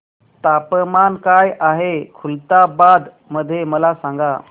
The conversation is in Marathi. तापमान काय आहे खुलताबाद मध्ये मला सांगा